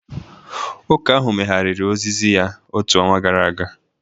Ụka ahụ megharịrị ozizi ya otu ọnwa gara aga